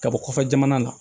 Ka bɔ kɔfɛ jamana la